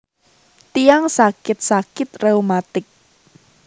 Tiyang sakit sakit reumatik